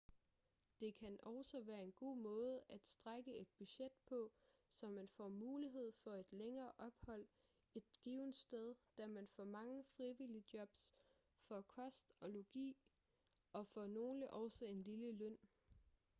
det kan også være en god måde at strække et budget på så man får mulighed for et længere ophold et givent sted da man for mange frivilligjobs får kost og logi og for nogle også en lille løn